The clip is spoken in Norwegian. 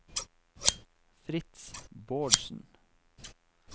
Fritz Bårdsen